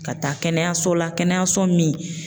Ka taa kɛnɛyaso la kɛnɛyaso min